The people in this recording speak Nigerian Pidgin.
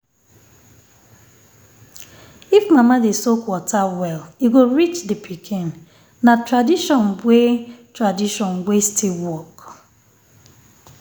if mama dey soak water um well e go reach um the pikin. um na tradition wey tradition wey still work